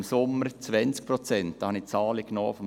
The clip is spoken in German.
Im Sommer waren es im Jahr 2017 20 Prozent.